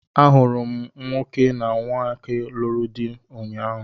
A hụrụ m nwoke na nwoke lụrụ di ụnyaahụ.